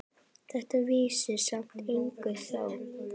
Þetta vissi samt enginn þá.